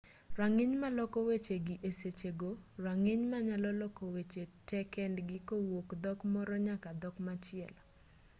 rang'iny maloko weche gi esechego rang'iny manyalo loko weche te kendgi kowuok dhok moro nyaka dhok machielo